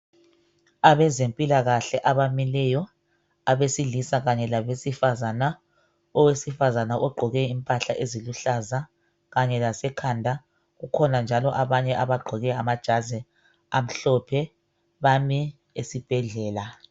Abezempikahle abamileyo abesilisa kanye labesifazana, owesifazana ogqoke imphahla eziluhlaza kanye lasekhanda kukhona njalo abanye abagqoke amajazi amhlophe bami esibhedlela.